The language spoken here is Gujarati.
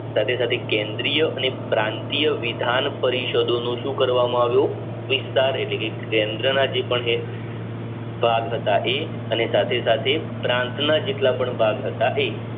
સાથે સાથે કેન્દ્રીય અને ક્રાંતિય વિધાન પરિષદોનું શું કરવા માં આવ્યું વિસ્તાર એટલે કે કેન્દ્ર ના જે પણ હતા એ અને સાથે સાથે પ્રાંત ના જેટલાપણ ભાગ હતા એ